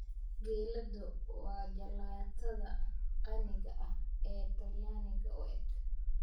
Gelato waa jalaatada qaniga ah ee talyaaniga u eg.